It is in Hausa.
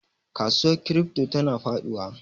Kasuwar crypto tana faduwa.